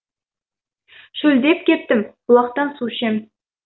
шөлдеп кеттім бұлақтан су ішем